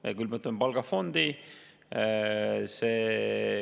Me külmutame palgafondi.